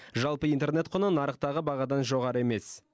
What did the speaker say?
жалпы интернет құны нарықтағы бағадан жоғары емес